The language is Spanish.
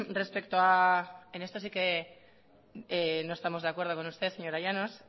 respecto a en esto sí que nos estamos de acuerdo con usted señora llanos